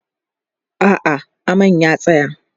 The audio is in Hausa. a'a aman ya tsaya